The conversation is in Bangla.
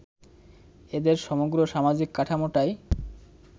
এদের সমগ্র সামাজিক কাঠামোটাই